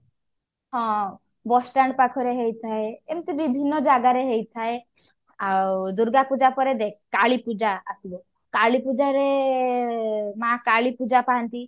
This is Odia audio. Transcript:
ହଁ bus stand ପାଖରେ ହେଇଥାଏ ଏମିତି ବିଭିନ୍ନ ଜଗା ରେ ହେଇଥାଏ ଆଉ ଦୁର୍ଗାପୂଜା ପରେ ଦେଖ କାଳୀପୂଜା ଆସିବ କାଳୀପୂଜା ରେ ମାଆ କାଳୀ ପୂଜା ପାଆନ୍ତି